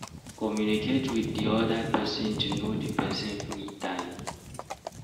Communicate with di other person to know di person free time